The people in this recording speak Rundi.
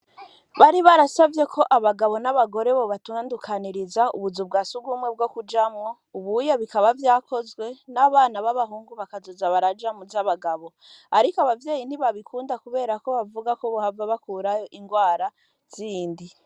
Bari barasavyeko abagabo n'abagore bo batandukanyiriza ubuzu bwa sugumwe bwokujamwo ubuhunye bikaba vyakozwe n'abana b'abahungu bakazoza baraja mu z'abagabo, ariko abavyeyi ntibabikunda kuberako bavugako bohava bakurayo ingwara zindi.